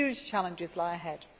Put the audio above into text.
Huge challenges lie ahead.